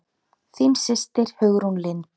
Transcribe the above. Þín systir Hugrún Lind.